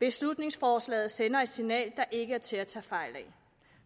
beslutningsforslaget sender et signal der ikke er til at tage fejl af